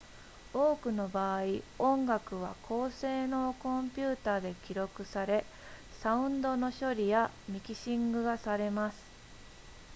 多くの場合音楽は高性能コンピュータで記録されサウンドの処理やミキシングがされます